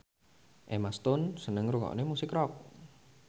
Emma Stone seneng ngrungokne musik rock